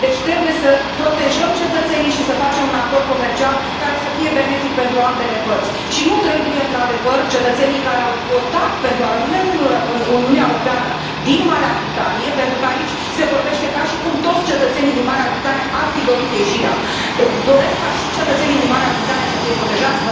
Deci trebuie să protejăm cetățenii și să facem un acord comercial care să fie benefic pentru ambele părți și nu trebuie, într adevăr, cetățenii care au votat pentru a rămâne în Uniunea Europeană din Marea Britanie pentru că aici se vorbește ca și cum toți cetățenii din Marea Britanie ar fi dorit ieșirea doresc ca și cetățenii din Marea Britanie să fie protejați.